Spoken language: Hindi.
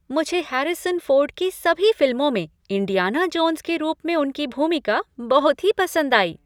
मुझे हैरिसन फोर्ड की सभी फिल्मों में इंडियाना जोन्स के रूप में उनकी भूमिका बहुत ही पसंद आई।